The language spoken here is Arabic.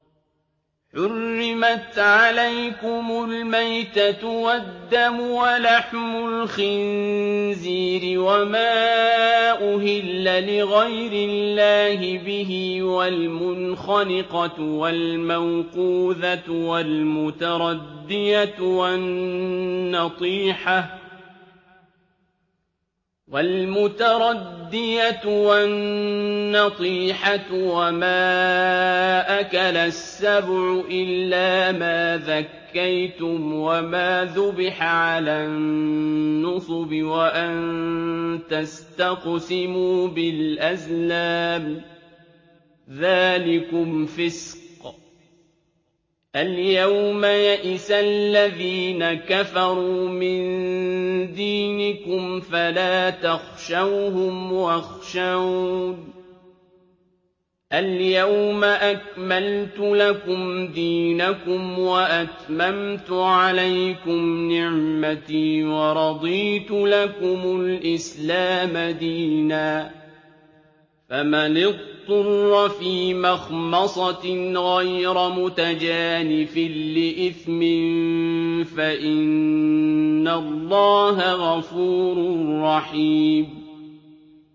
حُرِّمَتْ عَلَيْكُمُ الْمَيْتَةُ وَالدَّمُ وَلَحْمُ الْخِنزِيرِ وَمَا أُهِلَّ لِغَيْرِ اللَّهِ بِهِ وَالْمُنْخَنِقَةُ وَالْمَوْقُوذَةُ وَالْمُتَرَدِّيَةُ وَالنَّطِيحَةُ وَمَا أَكَلَ السَّبُعُ إِلَّا مَا ذَكَّيْتُمْ وَمَا ذُبِحَ عَلَى النُّصُبِ وَأَن تَسْتَقْسِمُوا بِالْأَزْلَامِ ۚ ذَٰلِكُمْ فِسْقٌ ۗ الْيَوْمَ يَئِسَ الَّذِينَ كَفَرُوا مِن دِينِكُمْ فَلَا تَخْشَوْهُمْ وَاخْشَوْنِ ۚ الْيَوْمَ أَكْمَلْتُ لَكُمْ دِينَكُمْ وَأَتْمَمْتُ عَلَيْكُمْ نِعْمَتِي وَرَضِيتُ لَكُمُ الْإِسْلَامَ دِينًا ۚ فَمَنِ اضْطُرَّ فِي مَخْمَصَةٍ غَيْرَ مُتَجَانِفٍ لِّإِثْمٍ ۙ فَإِنَّ اللَّهَ غَفُورٌ رَّحِيمٌ